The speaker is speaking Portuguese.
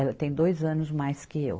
Ela tem dois anos mais que eu.